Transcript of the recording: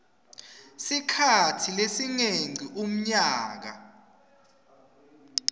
sikhatsi lesingengci umnyaka